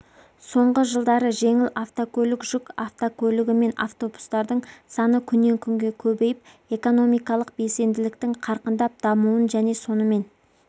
соңғы жылдары жеңіл автокөлік жүк автокәлігі мен автобустардың саны күннен күнге көбейіп экономикалық белсенділіктің қарқындап дамуын және сонымен